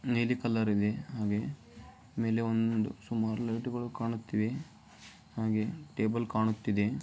ನೀಲಿ ಕಲರಿಗೆ ಮೇಲ್ಗಡೆ ಸುಮಾರು ಲೈಟ್ಗಳಿಗೆ ಹಾಗೆ ಟೇಬಲ್ ಕಾಣುತ್ತಿದೆ.